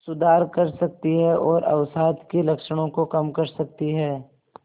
सुधार कर सकती है और अवसाद के लक्षणों को कम कर सकती है